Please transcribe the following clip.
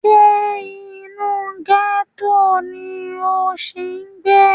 Ṣé inú gẹ́tò ni o ṣì ń gbé?